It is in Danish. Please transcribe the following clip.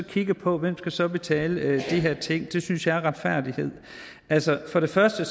kigget på hvem der så skal betale de her ting vi synes er retfærdighed altså for det første